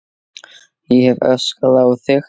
Ég hef öskrað á þig!